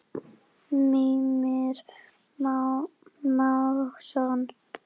Mímir Másson.